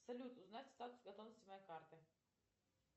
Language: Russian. салют узнать статус готовности моей карты